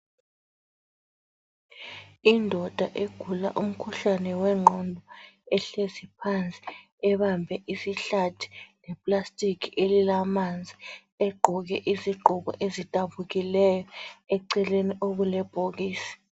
Indoda egula umkhuhlane wengqondo ehlezi phansi ebambe isihlathi, le plastiki elilamanzi egqoke izigqoko ezidabukileyo, eceleni okulebhokisi.